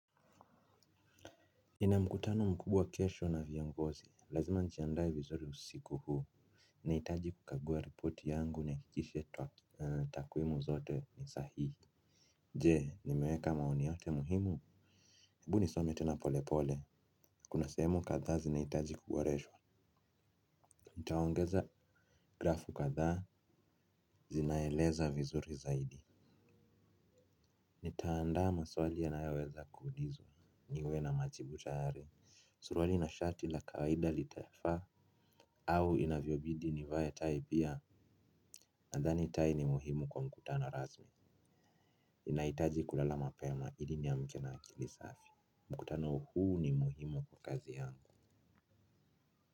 Nina mkutano mkubwa kesho na viongozi. Lazima njiaandaye vizuri usiku huu. Naitaji kukagua ripoti yangu niha kikishe twa takwimu zote ni sahihi. Je, nimeweka maoni yote muhimu? Ebu nisome tena pole pole. Kuna sehemu kathaa zinaitaji kuboreshwa. Nitaongeza grafu kathaa, zinaeleza vizuri zaidi. Nitaandaa maswali yanayoweza kuulizwa. Niwe na majibu tayari. Suruwali na shati la kawaida litafaa. Au inavyobidi nivae tai pia. Andhani tai ni muhimu kwa mkutano rasmi. Ninaitaji kulala mapema, ili niamke na akilisafi. Mkutano huu ni muhimu kwa kazi yangu.